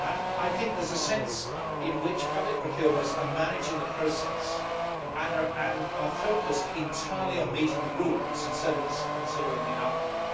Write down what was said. I think there is a sense in which public procurers are managing the process and are focused entirely on meeting the rules instead of considering the outcome.